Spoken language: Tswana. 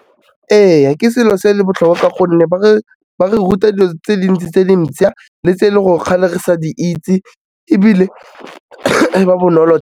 Ee, ke selo se e le botlhokwa gonne ba re ruta dilo tse dintsi tse dintšha le tse le gore kgale re sa di itse, ebile e ba bonolo.